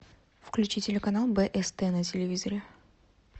включи телеканал бст на телевизоре